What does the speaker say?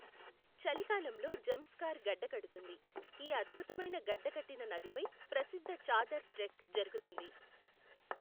చలికాలంలో జంస్కార్ గడ్డకడుతుంది, ఈ అద్భుతమైన గడ్డకట్టిన నదిపై ప్రసిద్ధ చాదర్ ట్రెక్ జరుగుతుంది.